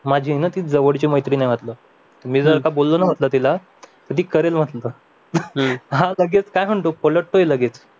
माझी न जवळची मैत्रीण ये म्हटलं मी जर का बोललो ना तिला ती करेल म्हटलं हा लगेच काय म्हणतो पलटतोय लगेच